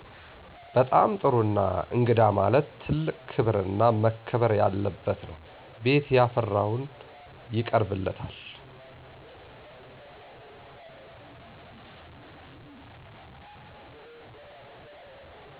በጣም ጥሩ እና እንግዳ ማለት ትልቅ ክብር እና መከበር ያለበት ነው ቤት ያፈራውን ይቀርብለታል።